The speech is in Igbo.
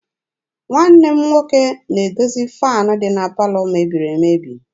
Nwanne m nwoke na-edozi faanị dị na palọ mebiri emebi.